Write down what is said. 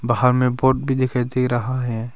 हमें बोर्ड भी दिखाई दे रहा है।